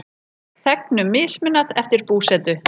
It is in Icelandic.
Þegnum mismunað eftir búsetu